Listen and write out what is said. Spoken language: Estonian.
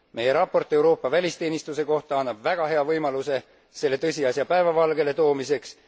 Meie raport Euroopa välisteenistuse kohta annab väga hea võimaluse selle tõsiasja päevavalgele toomiseks.